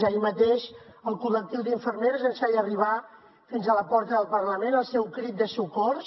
ahir mateix el col·lectiu d’infermeres ens feia arribar fins a la porta del parlament el seu crit de socors